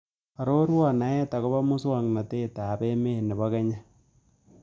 Aroruon naet ago po musogetap emet ne po kenya